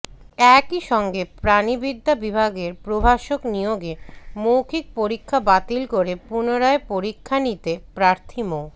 একই সঙ্গে প্রাণিবিদ্যা বিভাগের প্রভাষক নিয়োগে মৌখিক পরীক্ষা বাতিল করে পুনরায় পরীক্ষা নিতে প্রার্থী মো